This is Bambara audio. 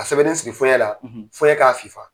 sɛbɛden siri fɔyɛn la fɔyɛn k'a fifa.